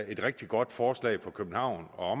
et rigtig godt forslag for københavn og